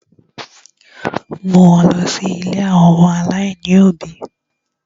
Mú wọn lọ̀ ilé àwọn ọmọ aláìní òbí!